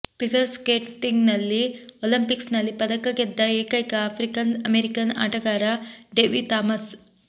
figure ಸ್ಕೇಟಿಂಗ್ನಲ್ಲಿ ಒಲಂಪಿಕ್ಸ್ನಲ್ಲಿ ಪದಕ ಗೆದ್ದ ಏಕೈಕ ಆಫ್ರಿಕನ್ ಅಮೇರಿಕನ್ ಆಟಗಾರ ಡೆಬಿ ಥಾಮಸ್